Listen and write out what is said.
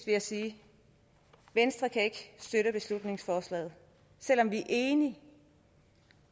jeg sige venstre kan ikke støtte beslutningsforslaget selv om vi enige i